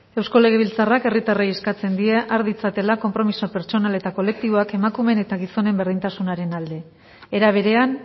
eusko legebiltzarrak herritarrei eskatzen die har ditzatela konpromiso pertsonal eta kolektiboak emakumeen eta gizonen berdintasunaren alde era berean